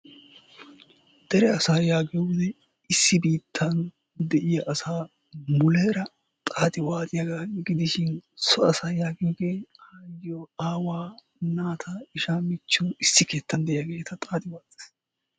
Dere asa yaagiyooge issi biittan de'iyaa asaa muleera xaaxxi waxxiyaaga gidishin so asa yagiyooge aayyiyoo, aawaa, naata, ishshaa, michchiyo issi keettan de'iyaageeti xaaxxi waaxxiis.